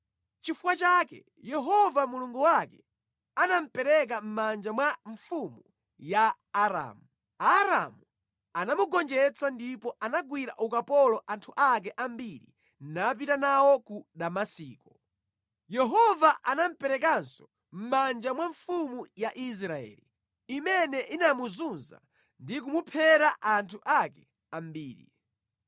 Nʼchifukwa chake Yehova Mulungu wake anamupereka mʼmanja mwa mfumu ya Aramu. Aaramu anamugonjetsa ndipo anagwira ukapolo anthu ake ambiri napita nawo ku Damasiko. Yehova anamuperekanso mʼmanja mwa mfumu ya Israeli, imene inamuzunza ndi kumuphera anthu ake ambiri.